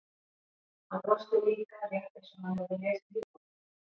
Hann brosti líka, rétt eins og hann hefði lesið hug okkar.